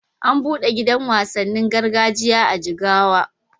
An buɗe gidan wasannin gargajiya a Jigawa.